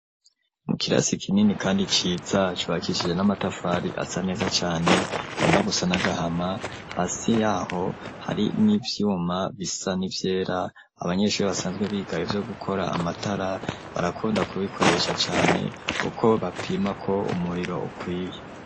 Mu kirasi kinini kandi ciza, cubakishije n'amatafari asa neza cane agomba gusa n'agahama, hasi y’aho hari n'ivyuma bisa n'ivyera; abanyeshuri basanzwe biga ivyo gukora amatara, barakunda kubikoresha cane kuko bapima ko umuriro ukwiye.